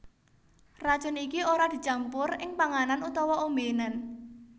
Racun iki ora dicampur ing panganan utawa ombénan